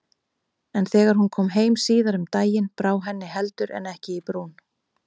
En þegar hún kom heim síðar um daginn brá henni heldur en ekki í brún.